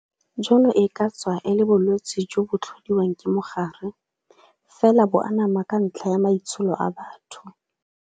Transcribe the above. Jono e ka tswa e le bolwetse jo bo tlhodiwang ke mogare, fela bo anama ka ntlha ya maitsholo a batho.